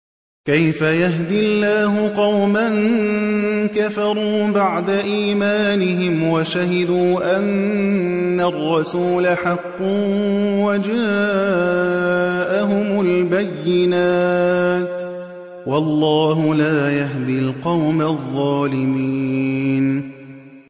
كَيْفَ يَهْدِي اللَّهُ قَوْمًا كَفَرُوا بَعْدَ إِيمَانِهِمْ وَشَهِدُوا أَنَّ الرَّسُولَ حَقٌّ وَجَاءَهُمُ الْبَيِّنَاتُ ۚ وَاللَّهُ لَا يَهْدِي الْقَوْمَ الظَّالِمِينَ